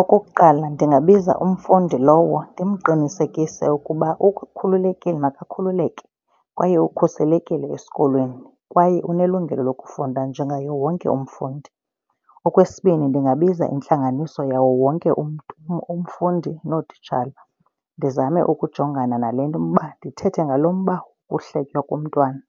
Okokuqala, ndingabiza umfundi lowo ndimqinisekise ukuba ukhululekile makakhululeke kwaye ukhuselekile esikolweni kwaye unelungelo lokufunda njengaye wonke umfundi. Okwesibini, ndingabiza nentlanganiso yawo wonke umfundi nootitshala, ndizame ukujongana nale nto umba, ndithethe ngalo mba wohletywa komntwana